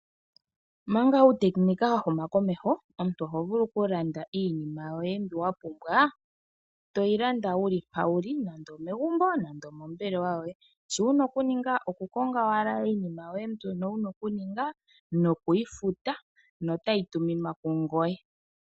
Omanga uutekinika wa huma komeho, omuntu oho vulu okulanda iinima yoye mbi wa pumbwa, to yi landa wu li mpa wu li, nande omegumbo, nande omombelewa yoye. Sho wu na okuninga, okukonga owala iinima yoye mbono wu na okuninga, noku yi futa, notayi tuminwa kungoye.